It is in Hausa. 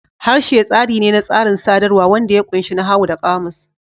Harshe tsari ne na tsarin sadarwa wanda ya ƙunshi nahawu da ƙamus.